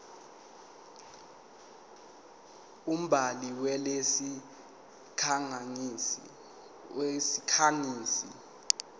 umbhali walesi sikhangisi